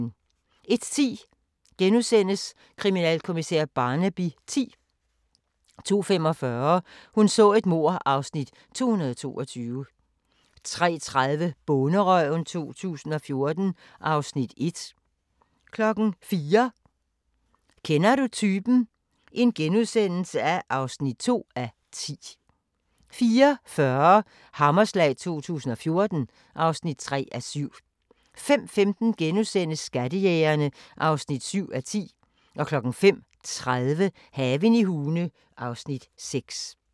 01:10: Kriminalkommissær Barnaby X * 02:45: Hun så et mord (Afs. 222) 03:30: Bonderøven 2014 (Afs. 1) 04:00: Kender du typen? (2:10)* 04:40: Hammerslag 2014 (3:7) 05:15: Skattejægerne (7:10)* 05:30: Haven i Hune (Afs. 6)